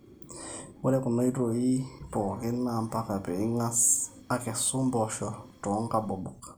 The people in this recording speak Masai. ore kuna oitaoi pooki naa mpaka pee ing'as akesu mpoosho toonkabobok